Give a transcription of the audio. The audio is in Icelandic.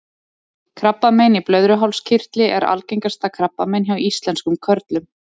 krabbamein í blöðruhálskirtli er algengasta krabbamein hjá íslenskum körlum